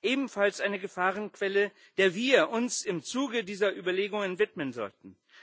ebenfalls eine Gefahrenquelle, der wir uns im Zuge dieser Überlegungen widmen sollten.